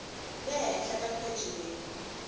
le henhla ka pheji leyi